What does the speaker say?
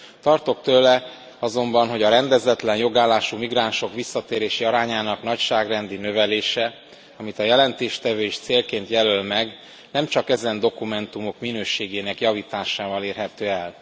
Tartok tőle azonban, hogy a rendezetlen jogállású migránsok visszatérési arányának nagyságrendi növelése amit a jelentéstevő is célként jelöl meg nem csak ezen dokumentumok minőségének javításával érhető el.